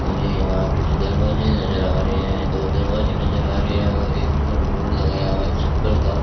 मुझे यहां कुछ दरवाजे नजर आ रहे हैं दो दरवाजे नजर आ रहे हैं और एक ऊपर बोर्ड लगाया हुआ चप्पल का --